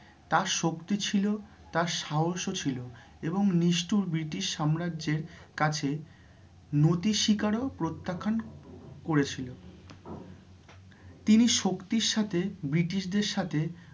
তাঁর শক্তি ছিল, তাঁর সাহসও ছিল এবং নিষ্ঠুর British সম্রাজ্যের কাছে নতি শিকারও প্রত্যাখান করেছিল তিনি শক্তির সাথে British দের সাথে